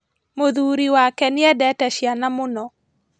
Mũthuri wake nĩendete ciana mũno